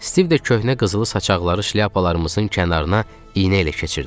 Stiv də köhnə qızılı saçaqları şlyapalarımızın kənarına iynə ilə keçirdi.